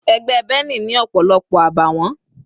Ẹgbẹ́ Benny ni ọ̀pọ̀lọpọ̀ àbàwọ́n.